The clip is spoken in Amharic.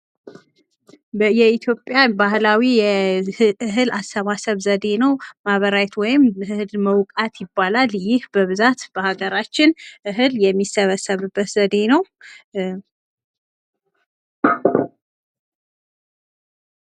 የኢትዮጵያ ባህላዊ እህል አሰባሰብ ዘዴ ነው። ማበራየት ወይም እህል መውቃት ይባላል። ይህ በብዛት በሃገራችን እህል የሚሰበሰብበት ዘዴ ነው።